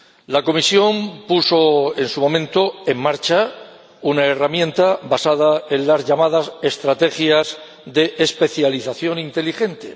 La Comisión puso en su momento en marcha una herramienta basada en las llamadas estrategias para la especialización inteligente.